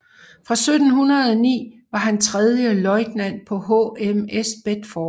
Fra 1709 var han tredje løjtnant på HMS Bedford